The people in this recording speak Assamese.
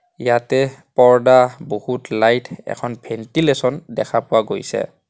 ইয়াতে পৰ্দা বহুত লাইট এখন ভেন্টিলেছন দেখা পোৱা গৈছে।